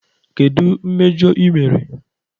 Kedu mmejọ ị mere?